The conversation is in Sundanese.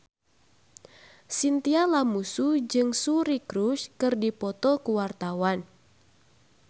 Chintya Lamusu jeung Suri Cruise keur dipoto ku wartawan